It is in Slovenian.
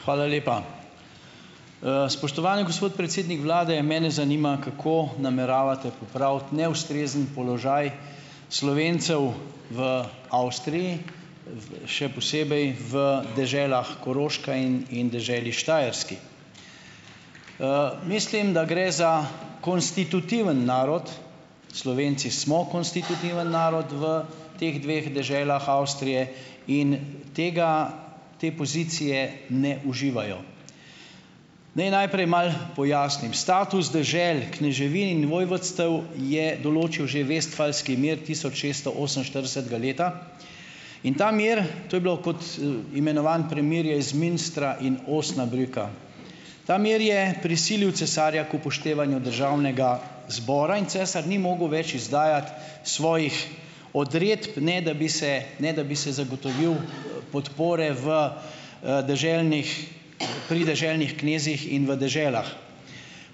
Hvala lepa. Spoštovani gospod predsednik vlade, mene zanima, kako nameravate popraviti neustrezen položaj Slovencev v Avstriji, v, še posebej v deželah Koroška in, in deželi Štajerski. Mislim, da gre za konstitutivni narod. Slovenci smo konstitutivni narod v teh dveh deželah Avstrije in tega, te pozicije ne uživajo. Naj najprej malo pojasnim. Status dežel kneževin in vojvodstev je določil že vestfalski mir tisoč šeststo oseminštiridesetega leta in ta mir, to je bilo kot, imenovano premirje iz Münstra in Osnabrücka. Ta mir je prisilil cesarja k upoštevanju državnega zbora in cesar ni mogel več izdajati svojih odredb, ne da bi se, ne da bi se zagotovil, podpore v, deželnih pri deželnih knezih in v deželah.